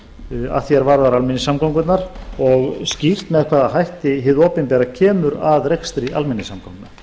að því er varðar almenningssamgöngurnar og skýrt með hvaða hætti hið opinbera kemur að rekstri almenningssamgangna